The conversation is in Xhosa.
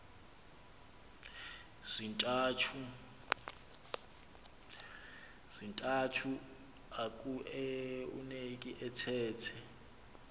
zintathu akueuneki athethe